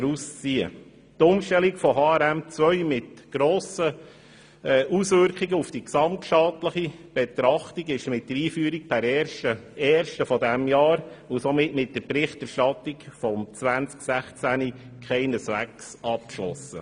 Diese Umstellung auf HRM2 mit grossen Auswirkungen auf die gesamtstaatliche Betrachtung ist mit der Einführung per 1. 1. dieses Jahres und somit mit der Berichterstattung des Jahres 2016 keineswegs abgeschlossen.